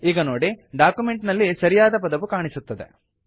ಈಗ ನೋಡಿ ಡಾಕ್ಯುಮೆಂಟ್ ನಲ್ಲಿ ಸರಿಯಾದ ಪದವು ಕಾಣಿಸುತ್ತದೆ